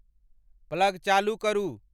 Plug चालू करू।